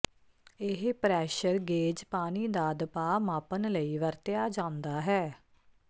ਇਹ pressure gauge ਪਾਣੀ ਦਾ ਦਬਾਅ ਮਾਪਣ ਲਈ ਵਰਤਿਆ ਜਾਂਦਾ ਹੈ